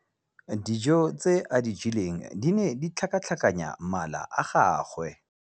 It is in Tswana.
Dijô tse a di jeleng di ne di tlhakatlhakanya mala a gagwe.